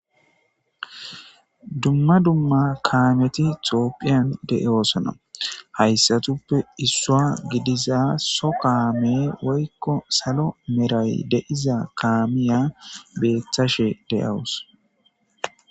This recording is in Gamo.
Dumma dumma kaameti toophiyan de'eoosona hayssatuppe issua gidiza so kaame woykko salo meray deiza kaamiya beethashe deyawus.